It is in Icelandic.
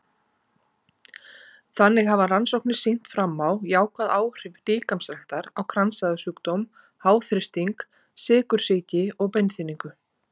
Þannig hafa rannsóknir sýnt fram á jákvæð áhrif líkamsræktar á kransæðasjúkdóm, háþrýsting, sykursýki og beinþynningu.